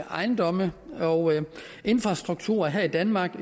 ejendomme og infrastruktur her i danmark